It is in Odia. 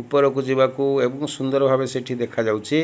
ଉପରକୁ ଯିବାକୁ ଏବଂ ସୁନ୍ଦର ଭାବେ ସେଠି ଦେଖାଯାଉଚି।